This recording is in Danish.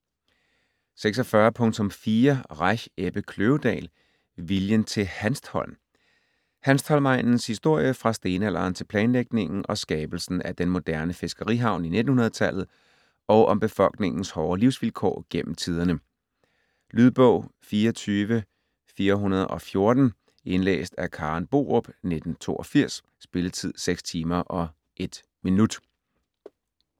46.4 Reich, Ebbe Kløvedal: Viljen til Hanstholm Hanstholm-egnens historie fra stenalderen til planlægningen og skabelsen af den moderne fiskerihavn i 1900-tallet og om befolkningens hårde livsvilkår gennem tiderne. Lydbog 24414 Indlæst af Karen Borup, 1982. Spilletid: 6 timer, 1 minutter.